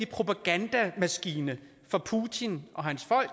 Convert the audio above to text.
propagandamaskine fra putin og hans folk